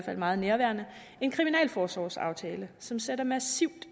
er meget nærværende en kriminalforsorgsaftale som sætter massivt